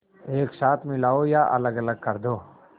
एक साथ मिलाओ या अलग कर दो